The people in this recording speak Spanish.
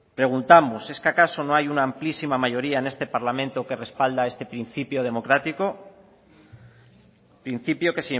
preguntamos es qué acaso no hay una amplísima mayoría en este parlamento que respalda este principio democrático principio que